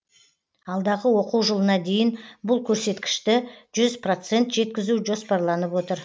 алдағы оқу жылына дейін бұл көрсеткішті жүз процент жеткізу жоспарланып отыр